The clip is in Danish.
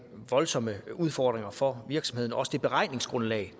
voldsomme udfordringer for virksomhederne også det beregningsgrundlag